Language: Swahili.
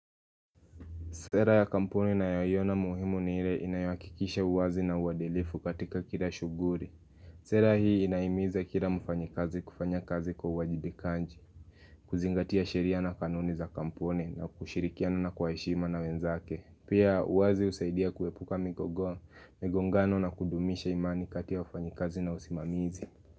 Sera ya kampuni nayoiona muhimu ni ile inayahakikisha uwazi na uadilifu katika kila shughuli. Sera hii inahimiza kila mfanyikazi kufanya kazi kwa uwajibikaji, kuzingatia sheria na kanuni za kampuni na kushirikiana na kwa heshima na wenzake. Pia uwazi husaidia kuwepuka migogo, migongano na kudumisha imani kati ya wafanyikazi na usimamizi.